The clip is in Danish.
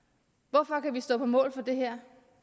hvorfor kan vi stå på mål for det her